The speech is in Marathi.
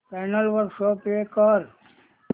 चॅनल वर शो प्ले कर